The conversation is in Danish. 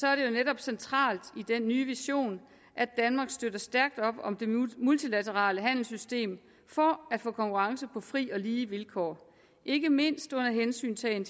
er det netop centralt i den nye vision at danmark støtter stærkt op om det multilaterale handelssystem for at få konkurrence på fri og lige vilkår ikke mindst under hensyntagen